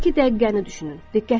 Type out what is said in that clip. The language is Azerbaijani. Hazırkı dəqiqəni düşünün.